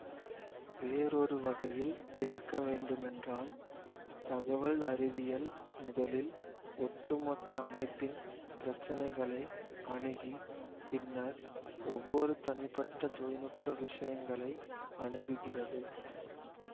வேறொரு வகையில் விளக்க வேண்டுமென்றால் தகவல் அறிவியல் முதலில் ஒட்டு மொத்த அமைப்பின் பிரச்சனைகளை அணுகி பின்னர் ஒவ்வொரு தனிப்பட்ட தொழில் நுட்ப விஷயங்களை அணுகுகிறது